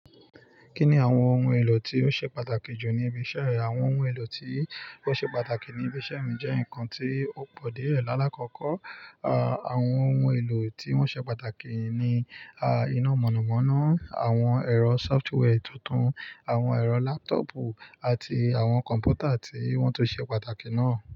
Kí ni àwọn ohun èlò tí ó ṣe pàtàkì jù ní ibi iṣẹ́ rẹ? Àwọn ohun èlò tí ó ṣe pàtàkì ní ibi iṣẹ́ mi jẹ́ nǹkan tí ó pọ̀ díẹ̀ lálá kọ̀ọ́kọ́. Àwọn ohun èlò tí wọ́n ṣe pàtàkì ni a iná mọ̀nàmọ́ná, àwọn ẹ̀rọ software tuntun, àwọn ẹ̀rọ laptopù àti àwọn kọ̀m̀pútà tí wọ́n tún ṣe pàtàkì náà.